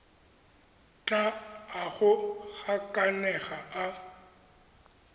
tla a go gakanega a